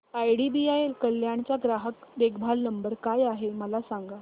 IDBI Kalyan चा ग्राहक देखभाल नंबर काय आहे मला सांगा